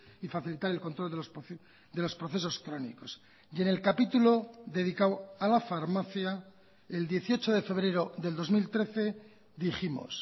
y facilitar el control de los procesos crónicos y en el capítulo dedicado a la farmacia el dieciocho de febrero del dos mil trece dijimos